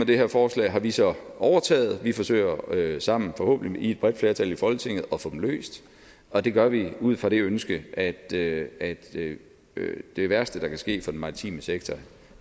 det her forslag har vi så overtaget vi forsøger sammen forhåbentlig i et bredt flertal i folketinget at få dem løst og det gør vi ud fra det ønske at det at det værste der kan ske for den maritime sektor